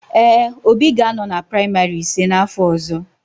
Ee, Obi ga-anọ na praịmarị ise n'afọ ọzọ.